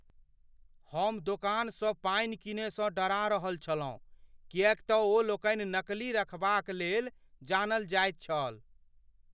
हम दोकानसँ पानि कीनयसँ डरा रहल छलहुँ किएक तँ ओलोकनि नकली रखबा क लेल जानल जाइत छल।